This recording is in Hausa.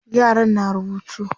yaran na rubutu